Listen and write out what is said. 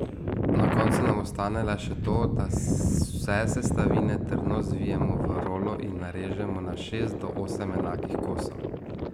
Na koncu nam ostane le še to, da vse sestavine trdno zvijemo v rolo in narežemo na šest do osem enakih kosov.